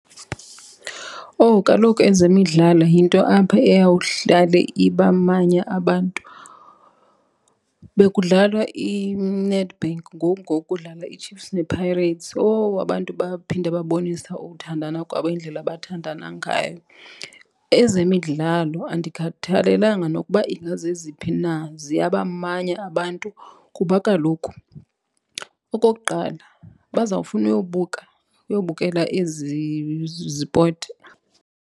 Owu, kaloku ezemidlalo yinto apha eyawuhlale ibamanye abantu. Bekudlalwa iNedbank ngoku ngoku kudlala iChiefs nePirates. Owu abantu baphinde babonisa ukuthandana kwabo, indlela abathandana ngayo. Ezemidlalo andikhathalelanga nokuba ingazeziphi na, ziyabamanya abantu kuba kaloku okokuqala bazawufuna uyobuka, uyobukela ezi zipoti.